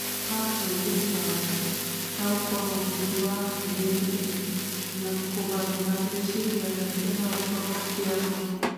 Agararũrire wĩ ra wake na gũkorwo bundi wa mĩeri ĩna na kũgarũra rĩciria rĩake na gũkorwo kĩa ma